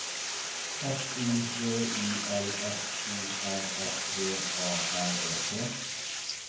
S I V I L F O R S V A R E T